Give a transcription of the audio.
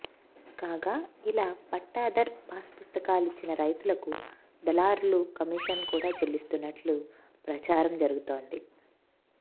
కాగా ఇలా పట్టాదర్ పాస్ పుస్తకాలిచ్చిన రైతులకు దళారులు కమీషన్ కూడా చెల్లిస్తున్నట్లు ప్రచారం జరుగుతోంది